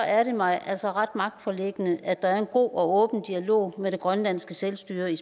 er det mig altså ret magtpåliggende at der er en god og åben dialog med grønlands selvstyre i